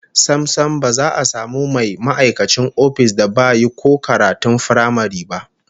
Sam sam, ba za a samu mai ma'aikacin ofis da ba yi ko karatun firamare ba